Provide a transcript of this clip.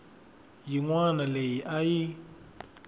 yin wana leyi a yi